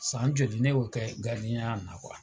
San joli ne y'o kɛ gardiɲɛya la.